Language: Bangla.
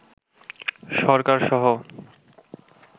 সরকারসহ